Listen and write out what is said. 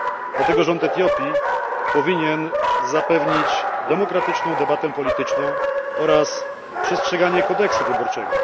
Dlatego rząd Etiopii powinien zapewnić demokratyczną debatę polityczną oraz przestrzeganie kodeksu wyborczego.